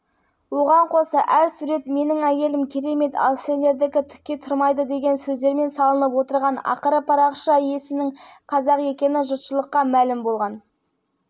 медиа-порталының тілшісі қазнеттің соңғы кездердегі басты кейіпкерінен сұхбат алды айта кетейік бұл жас жігіт үшін өміріндегі алғашқы